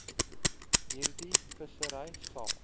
hierdie vissery sal